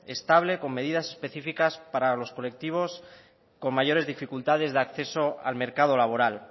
estable con medidas específicas para los colectivos con mayores dificultades de acceso al mercado laboral